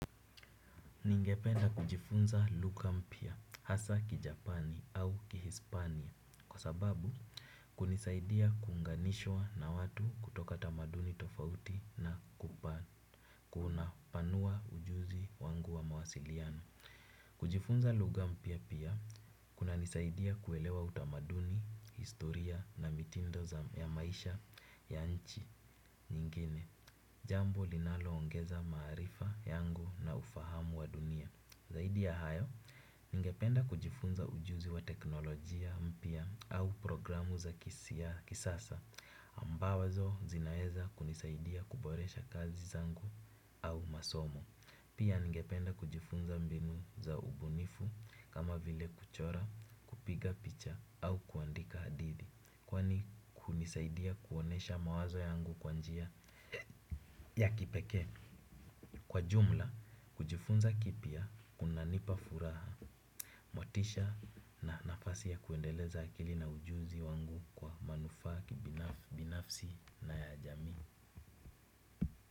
Ningependa kujifunza lugha mpya hasa ki Japani au ki Hispania kwa sababu kunisaidia kunganishwa na watu kutoka tamaduni tofauti na kupana kuna panua ujuzi wangu wa mawasiliano. Kujifunza lugha mpya pia, kuna nisaidia kuelewa utamaduni, historia na mitindo ya maisha ya nchi nyingine, jambo linalo ongeza maarifa yangu na ufahamu wa dunia. Zaidi ya hayo, ningependa kujifunza ujuzi wa teknolojia mpya au programu za kisasa, ambazo zinaweza kunisaidia kuboresha kazi zangu au masomo. Pia ningependa kujifunza mbinu za ubunifu kama vile kuchora, kupiga picha au kuandika hadithi kwani kunisaidia kuonesha mawazo yangu kwanjia ya kipekee. Kwa jumla, kujifunza kipya kunanipa furaha. Motisha na nafasi ya kuendeleza akili na ujuzi wangu kwa manufaa binafsi na ya jamii.